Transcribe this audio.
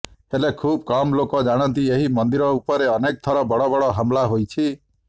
ହେଲେ ଖୁବ୍ କମ୍ ଲୋକ ଜାଣନ୍ତି ଏହି ମନ୍ଦିର ଉପରେ ଅନେକ ଥର ବଡ଼ ବଡ଼ ହମଲା ହୋଇଛି